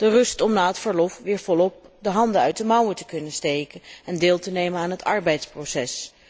De rust om na het verlof weer volop de handen uit de mouwen te kunnen steken en deel te nemen aan het arbeidsproces.